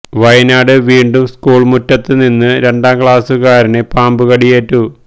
വയനാട് വീണ്ടും സ്കൂൾ മുറ്റത്ത് നിന്നും രണ്ടാം ക്ലാസുകാരന് പാമ്പ് കടിയേറ്റു